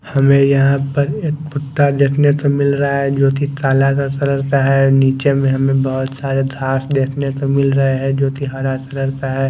हमें यहां पर एक कुत्ता देखने को मिल रहा है जो कि काला का कलर का है नीचे में हमें बहुत सारे घास देखने को मिल रहे हैं जो कि हरा कलर का है।